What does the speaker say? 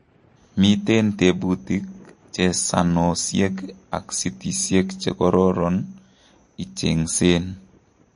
Miten tebutik, chesanosiek ak sitisiek chekoron icheng'seen